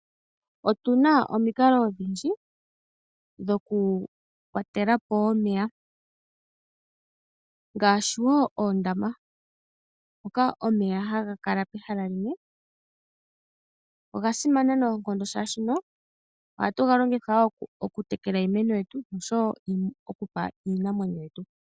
Otuna omikalo odhindji dhoku kwatelapo omeya ngaashi oondaaama, mpoka omeya haga kala pehala limwe, oga simana noonkondo, molwashoka ohatu ga longitha okutekela iimeno yetu noshowo okupa iinamwenyo yetu.